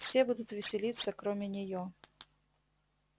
все будут веселиться кроме неё